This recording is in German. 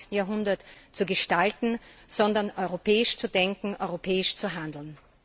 21. Jahrhunderts zu gestalten, sondern europäisch zu denken, europäisch zu handeln!